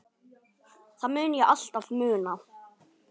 Það mun ég alltaf muna.